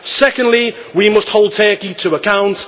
secondly we must hold Turkey to account